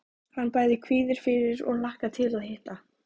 Hann bæði kvíðir fyrir og hlakkar til að hitta